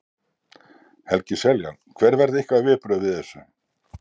Helgi Seljan: Hver verða ykkar viðbrögð við þessu?